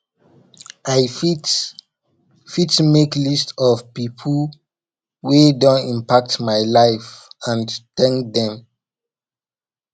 i fit fit make a list of pipo wey don impact my life and thank dem